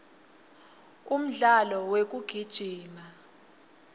umdlalo wekugijima